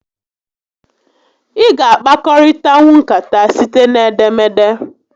Ị ga a kpakọrịtanwu nkata site n'edemede